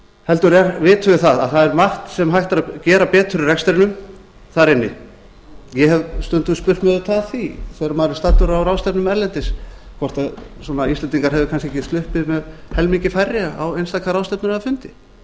heldur vitum við að það er margt sem hægt er að gera betur í rekstrinum þar inni ég hef stundum spurt mig auðvitað að því þegar maður er staddur á ráðstefnum erlendis hvort íslendingar hefðu danske ekki sloppið með helmingi færri á einstaka ráðstefnur eða fundi